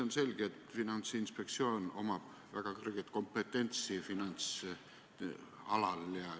On selge, et Finantsinspektsioonil on väga kõrge kompetents finantsalal.